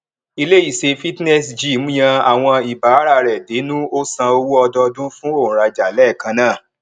ile ise fitness gym yan awon ibaara re denu o san owó odoodun fún onraja léẹkan náà